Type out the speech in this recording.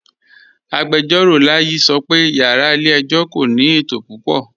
Agbẹjọro Layi sọ́ pẹ̀ yàrá ilẹ̀-ẹ̀jọ̀ kò ní ètò púpọ̀.